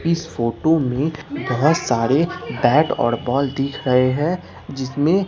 इस फोटो में बहुत सारे बैट और बाल दिख रहे हैं जिसमें--